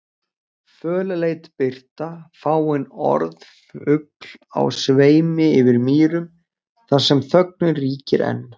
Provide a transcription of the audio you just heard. Fölleit birta, fáein orð fugl á sveimi yfir mýrum þar sem þögnin ríkir ein